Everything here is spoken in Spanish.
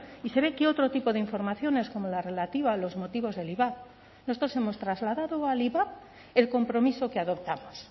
y se ve que otro tipo de informaciones como la relativa a los motivos del ivap nosotros hemos trasladado al ivap el compromiso que adoptamos